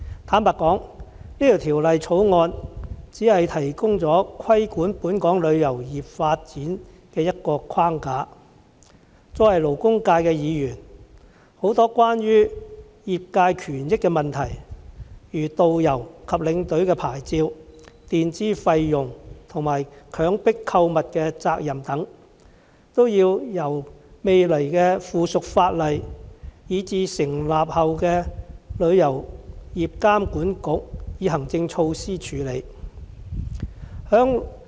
坦白說，《條例草案》只提供規管本港旅遊業發展的一個框架，勞工界議員關注的很多關於業界權益的問題，例如導遊及領隊的牌照、墊支費用及強迫購物的責任等，均要由未來的附屬法例以至成立後的旅遊業監管局以行政措施處理。